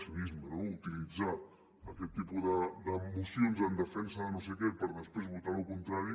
cinisme no utilitzar aquest tipus de mocions en defensa de no sé què per després votar el contrari